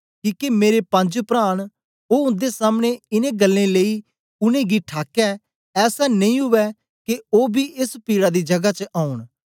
किके मेरे पंज प्रा न ओ उन्दे सामने इनें गल्लें लेई उनेंगी ठाकै ऐसा नेई उवै के ओ बी एस पीड़ा दी जगा च औंन